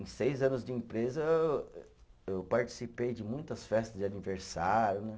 Em seis anos de empresa, eh eu participei de muitas festas de aniversário, né?